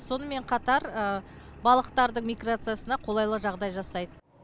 сонымен қатар балықтардың миграциясына қолайлы жағдай жасайды